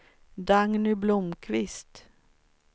Dagny Blomkvist